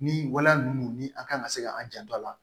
Ni waleya ninnu ni an kan ka se ka an janto a la